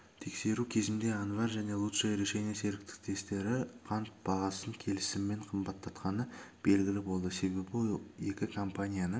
тексеру кезінде анвар және лучшее решение серіктестіктері қант бағасын келісіммен қымбаттатқаны белгілі болды себебі екі компанияның